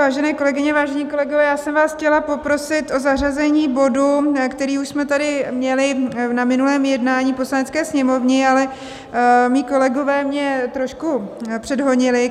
Vážené kolegyně, vážení kolegové, já jsem vás chtěla poprosit o zařazení bodu, který už jsme tady měli na minulém jednání Poslanecké sněmovny, ale mí kolegové mě trošku předhonili.